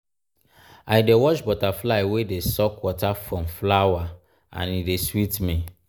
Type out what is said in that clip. i dey watch butterfly wey dey suck water from flower and e dey sweet me.